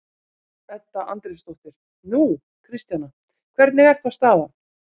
Edda Andrésdóttir: Nú, Kristjana, hvernig er þá staðan?